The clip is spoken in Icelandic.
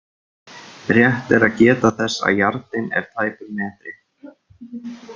Rétt er að geta þess að yardinn er tæpur metri.